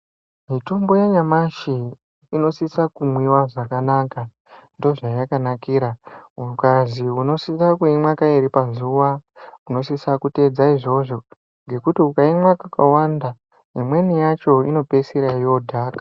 Mitombo yanyamashi inosisa kunwiwa zvakanaka, ndozvayakanakira. Ukazi unisana kuimwa kairi pazuwa, unosisa kuteedza izvozvo ngekuti ukaimwa kakawanda imweni yacho inopedzisira yodhaka.